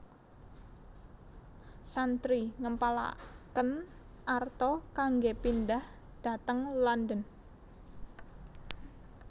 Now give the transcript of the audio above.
Chantrey ngempalaken arta kanggé pindhah dhateng London